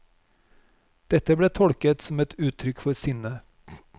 Dette ble tolket som et uttrykk for sinne.